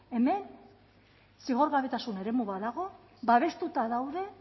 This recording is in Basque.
hemen zigorgabetasun eremu badago babestuta daude